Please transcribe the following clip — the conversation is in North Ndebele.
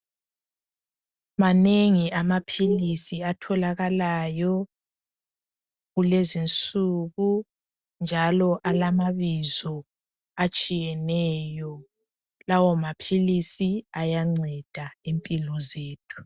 Manengi amaphilisi atholakalayo kulezinsuku njalo alamabizo atshiyeneyo. Lawo maphilisi ayanceda impilo zethu.